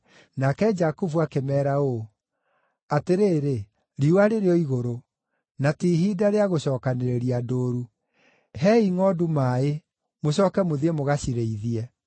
Nake Jakubu akĩmeera ũũ, “Atĩrĩrĩ, riũa rĩrĩ o igũrũ; na ti ihinda rĩa gũcookanĩrĩria ndũũru. Heei ngʼondu maaĩ, mũcooke mũthiĩ mũgacirĩithie.”